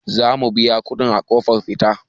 Za mu biya kuɗi a ƙofar fita.